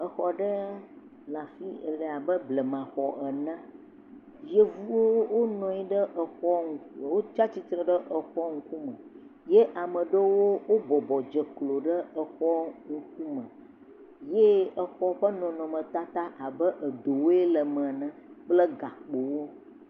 Exɔ aɖe le abe blemaxɔ ene, yevuwo wonɔ anyi etsatsitre ɖe exɔ ŋkume ye ame ɖewo wobɔbɔ dze klo ɖe exɔ be ŋkume ye exɔ ƒe nɔnɔmetata abe edowoe le me ene kple gakpowo.